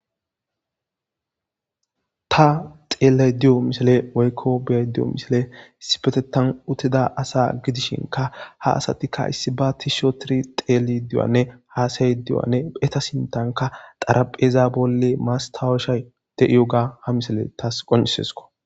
ta xeellay diyo misile woykko beay di7o misile isipetetan uttida asa gidishinka ha asatikka issi ba tishotiri xeeli duwanne haasayy diywanne heta sintanka xarapheza bolle maastawushay de7iyo ga ha misele tas qonisesko